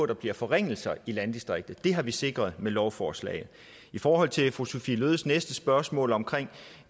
der bliver forringelser i landdistriktet det har vi sikret med lovforslaget i forhold til fru sophie løhdes næste spørgsmål om